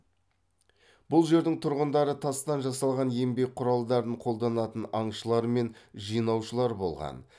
бұл жердің тұрғындары тастан жасалған еңбек құралдарын қолданатын аңшылар мен жинаушылар болған